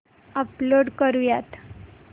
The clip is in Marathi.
अपलोड करुयात